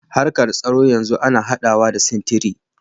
Harkar tsaro yanzu ana haɗawa da sintiri.